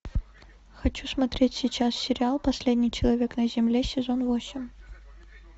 хочу смотреть сейчас сериал последний человек на земле сезон восемь